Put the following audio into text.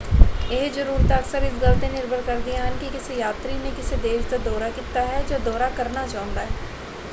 ਇਹ ਜ਼ਰੂਰਤਾਂ ਅਕਸਰ ਇਸ ਗੱਲ 'ਤੇ ਨਿਰਭਰ ਕਰਦੀਆਂ ਹਨ ਕਿ ਕਿਸੇ ਯਾਤਰੀ ਨੇ ਕਿਸ ਦੇਸ਼ ਦਾ ਦੌਰਾ ਕੀਤਾ ਹੈ ਜਾਂ ਦੌਰਾ ਕਰਨਾ ਚਾਹੁੰਦਾ ਹੈ।